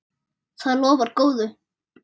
Það lofar góðu.